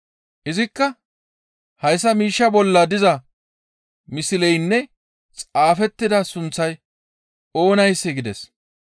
Izikka, «Hayssa miishshaa bolla diza misleynne xaafettida sunththay oonayssee?» gides.